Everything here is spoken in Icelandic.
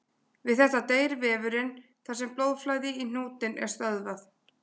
Við þetta deyr vefurinn þar sem blóðflæði í hnútinn er stöðvað.